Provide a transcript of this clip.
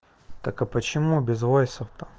так а почему без войсов то